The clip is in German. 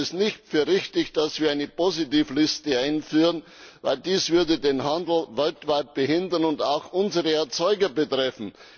Ich halte es nicht für richtig, dass wir eine Positivliste einführen, denn dies würde den Handel weltweit behindern und auch unsere Erzeuger betreffen.